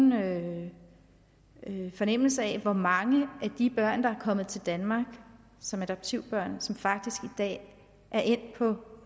nogen fornemmelse af hvor mange af de børn der er kommet til danmark som adoptivbørn som faktisk i dag er endt på